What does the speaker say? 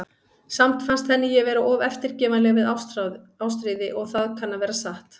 Samt fannst henni ég vera of eftirgefanleg við Ástríði, og það kann að vera satt.